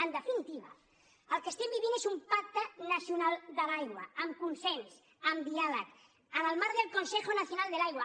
en definitiva el que estem vivint és un pacte nacional de l’aigua amb consens amb diàleg en el marc del consejo nacional de l’aigua